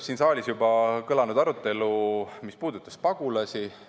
Siin saalis juba kõlas arutelu, mis puudutas pagulasi.